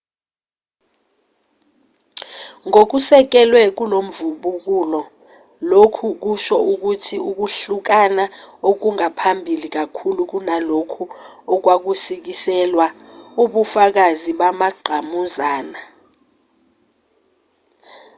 ngokusekelwe kulomvubukulo lokhu kusho ukuthi ukuhlukana okwangaphambili kakhulu kunalokho okwakusikiselwa ubufakazi bamangqamuzana